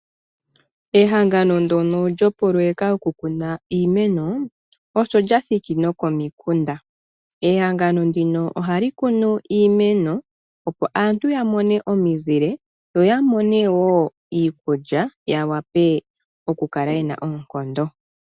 Ehangano ndyono lyoopoloyeka dhokukuna iimeno osho lya thiki nokomikunda. Ehangano ndika ohali kunu iimeno, opo aantu ya mone omizile yo ya mone wo iikulya ya wape okukala ye na oonkondo.